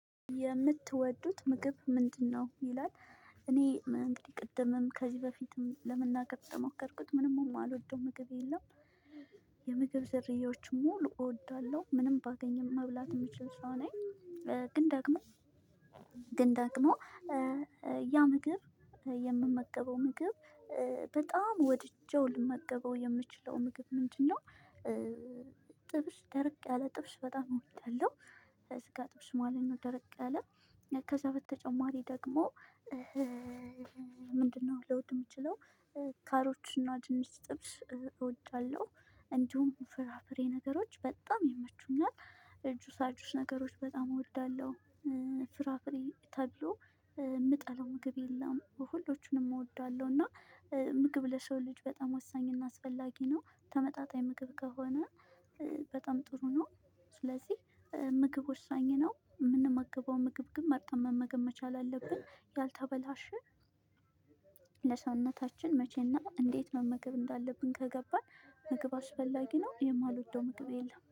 የምትወዱት ምግብ ምንድነው? ይላል እኔ እንግዲህ ቅድምም ከዚህ በፊትም ለመናገር እንደሞከርኩት ምንም እማልወደው ምግብ የለም። የምግብ ዘርያዎች ሙሉ እወዳለሁ። ምንም ባገኝም መብላት የምችል ሰው ነኝ። ግን ደግሞ ግን ደግሞ ያ ምግብ የምመገበው ምግብ በጣም ወድጄው ልመገበው የምችለው ምግብ ምንድነው? ጥብሽ ደርቅ ያለ ጥብስ በጣም እወዳለሁ። የስጋ ጥብስ ማለት ነው ደርቅ ያለ። ከዛ በተጨማሪ ደግሞ ምንድነው ልወድ የምችለው? ካሮት እና ድንች ጥብስ እወዳለሁ እንዲሁም ፍራፍሬ ነገሮች በጣም ይመቹኛት ጁሳ ጁስ ነገሮች በጣም እወዳለሁ። ፍራፍሬ ተብሎ የምጠለው ምግብ የለም ሁሎቹንም እወዳለሁ። እና ምግብ ለሰው ልጅ በጣም ወሳኝ እና አስፈላጊ ነው። ተመጣጣኝ ምግብ ከሆነ። በጣም ጥሩ ነው። ስለዚህ ምግብ ወሳኝ ነው እምንመገበውን ምግብ ግን መርጠም መመገብ መቻል አለብን። ያልተበላሸ። ለሰውነታችን መቼና እንዴት መመገብ እንዳለብን ከገባን። ምግብ አስፈላጊ ነው። የማልወደው ምግብ የለም